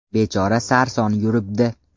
Bechora sarson yuribdi.